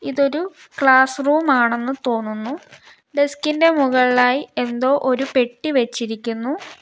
ഇതൊരു classroom ആണെന്ന് തോന്നുന്നു ഡെസ്ക് ഇന്റെ മുകളിലായി എന്തോ ഒരു പെട്ടി വെച്ചിരിക്കുന്നു.